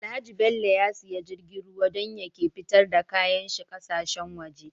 Alhaji bello ya siya jirgin ruwa dan ya ke fitar da kayan shi ƙasa shen waje